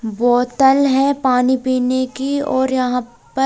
बोतल है पानी पीने की और यहां पर।